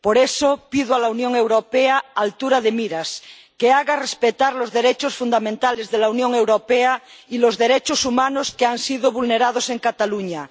Por eso pido a la Unión Europea altura de miras, que haga respetar los derechos fundamentales de la Unión Europea y los derechos humanos, que han sido vulnerados en Cataluña.